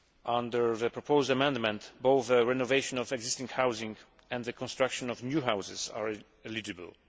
Under the proposed amendment, both the renovation of existing housing and the construction of new houses are eligible.